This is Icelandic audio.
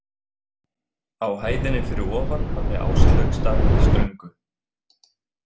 Á hæðinni fyrir ofan hafði Áslaug staðið í ströngu.